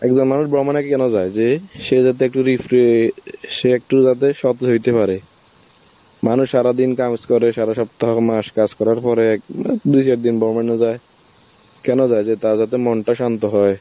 একজন মানুষ ভ্রমণ কেনো যায়, যে সে যাতে একটুখানি free হয়ে অ্যাঁ সে একটু বাদে সব যাইতে পারে, মানুষ সারাদিন কাজ করে, সারা সপ্তাহ মাস কাজ করার পরে এক~ উম দু চার দিন ভ্রমনে যায়, কেনো যায় যে তারা যাতে মনটা শান্ত হয়.